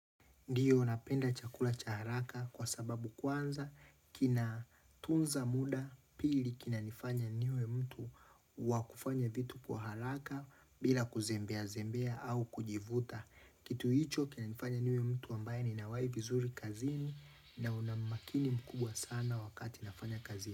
Ndiyo napenda chakula cha haraka kwa sababu kwanza kinatunza muda pili kinanifanya niwe mtu wa kufanya vitu kwa haraka bila kuzembea zembea au kujivuta. Kitu hicho kinanifanya niwe mtu ambaye nina uhai vizuri kazini na una umakini mkubwa sana wakati nafanya kazi.